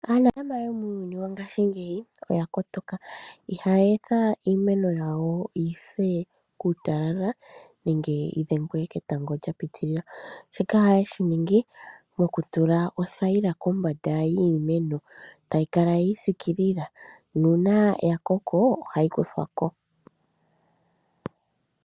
Aanafaalama yomuuyuni wongashingeyi oyakotoka, ihaye etha iimeno yawo yi se kuutalala nenge yi dhengwe ketango sha piitilila, shika ohaye shi ningi mokutula othayila kombanda yiimeno, tayi kala yi isikilila nuuna ya koko ohayi kuthwa ko.